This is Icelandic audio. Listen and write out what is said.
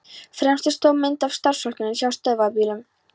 Fremst er stór mynd af starfsfólkinu hjá Stöðvarbílum.